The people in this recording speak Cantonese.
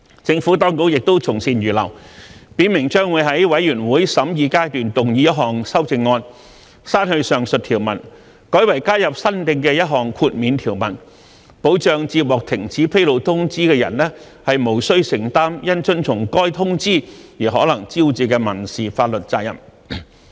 政府當局亦從善如流，表明將在全體委員會審議階段動議一項修正案，刪去上述條文，改為加入新訂的一項豁免條文，保障接獲停止披露通知的人無須承擔因遵從該通知而可能招致的民事法律責任。